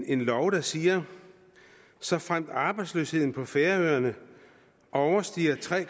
en lov der siger såfremt arbejdsløsheden på færøerne overstiger tre